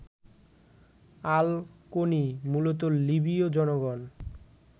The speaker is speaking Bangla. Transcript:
আল-কোনি: মূলত লিবীয় জনগণ